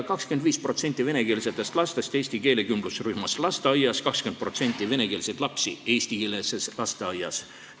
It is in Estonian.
25% venekeelsetest lastest on lasteaias eesti keelekümblusrühmas, 20% venekeelseid lapsi käivad eestikeelses lasteaias.